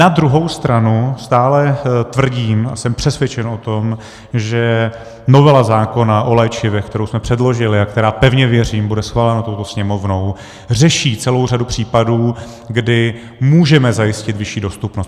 Na druhou stranu stále tvrdím a jsem přesvědčen o tom, že novela zákona o léčivech, kterou jsme předložili a která, pevně věřím, bude schválena touto Sněmovnou, řeší celou řadu případů, kdy můžeme zajistit vyšší dostupnost.